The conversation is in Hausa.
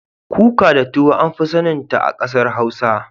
Kuka da tuwo an fi sanin ta a kasar hausa.